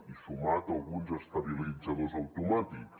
i sumat a alguns estabilitzadors automàtics